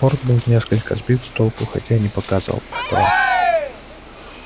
борт был несколько сбит с толку хотя и не показывал этого